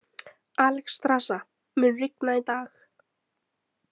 Alexstrasa, mun rigna í dag?